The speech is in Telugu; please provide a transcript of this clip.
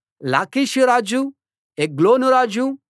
లాకీషు రాజు ఎగ్లోను రాజు